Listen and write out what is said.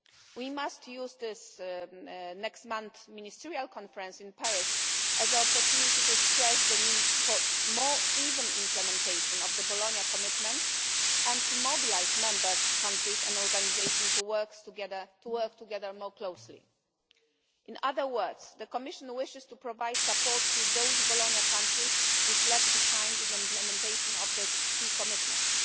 We must use next month's ministerial conference in Paris as an opportunity to stress the need for more even implementation of the Bologna commitments and to mobilise member countries and organisations to work together more closely In other words, the Commission wishes to provide support to those Bologna countries which lag behind in the implementation of the key commitments.